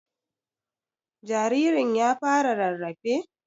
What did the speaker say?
Jaririn ya fara rarrafe?